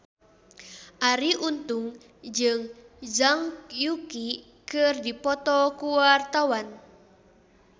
Arie Untung jeung Zhang Yuqi keur dipoto ku wartawan